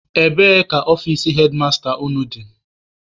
Ebee ka ọfici hedmasta unu dị?